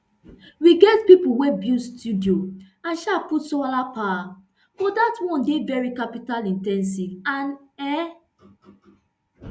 we get pipo wey build studio and um put solar power but dat one dey veri capital in ten sive and e